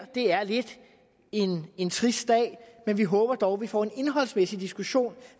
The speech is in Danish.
er lidt en trist dag men vi håber dog at vi får en indholdsmæssig diskussion